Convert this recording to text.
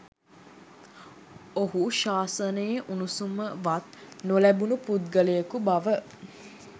ඔහු ශාසනයේ උණුසුමවත් නොලැබුණ පුද්ගලයකු බව